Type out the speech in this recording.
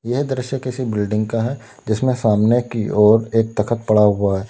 यह दृश्य किसी बिल्डिंग का है जिसमें सामने की ओर एक तख्त पड़ा हुआ है।